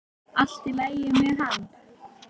Allt í lagi með hann.